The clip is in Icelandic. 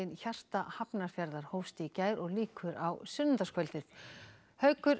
hjarta Hafnarfjarðar hófst í gær og lýkur á sunnudagskvöld haukur